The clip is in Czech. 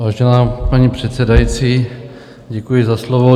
Vážená paní předsedající, děkuji za slovo.